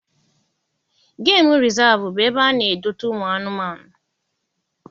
Gemu rịzaavụ bụ ebe ana edote ụmụ anụmanụ.